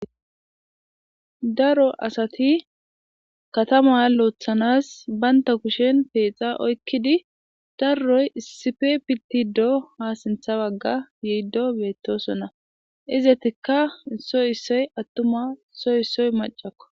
daro asati katama loothanas baynta kushen peexa oykkidi darroy issife pitti do ha sintha bagga yiiddo beettosonna izetikka issoy issoy attuma issoy issoy macakko